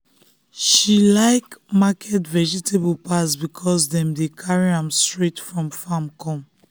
she um like market vegetable pass because dem dey carry am straight from farm come.